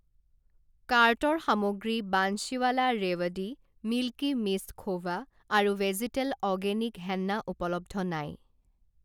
কাৰ্টৰ সামগ্ৰী বান্সীৱালা ৰেৱদি, মিল্কী মিষ্ট খোভা আৰু ভেজীতেল অ'গেনিক হেন্না উপলব্ধ নাই।